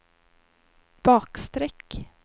bakstreck